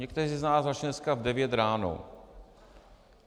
Někteří z nás začali dneska v 9 ráno.